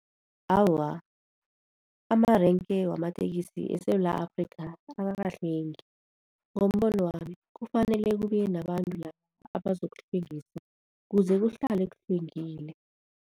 Awa, amarenke wamatekisi eSewula Afrikha akakahlwengi. Ngombono wami kufanele kube nabantu la abazokuhlwengisa kuze kuhlale kuhlwengile.